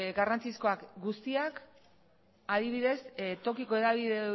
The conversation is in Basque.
garrantzizkoak guztiak adibidez tokiko hedabideek